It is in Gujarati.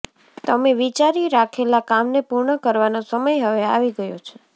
તમે વિચારી રાખેલા કામને પૂર્ણ કરવાનો સમય હવે આવી ગયો છે